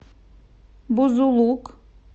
бузулук